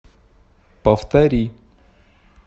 повтори